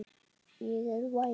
Ég er væmin.